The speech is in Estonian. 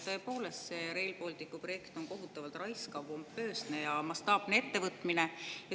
Tõepoolest, Rail Balticu projekt on kohutavalt raiskav, pompoosne ja mastaapne ettevõtmine.